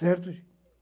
Certo, gente?